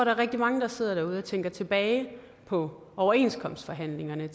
er rigtig mange der sidder derude og tænker tilbage på overenskomstforhandlingerne